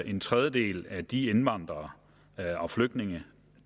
en tredjedel af de indvandrere og flygtninge